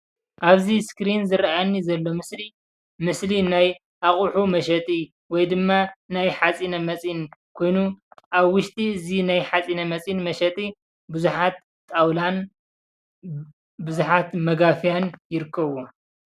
ኣብዚ ስክሪን ዝረኣየኒ ዘሎ ምስሊ ምስሊ ናይ ኣቑሑ መሸጢ ወይ ድማ ናይ ሓፂነ መፂን ኮይኑ ኣብ ውሽጢ እዚ ናይ ሓፂነ መፂን መሸጢ ብዙሓት ጣውላን ብዙሓት መጋፍያን ይርከቡዎም።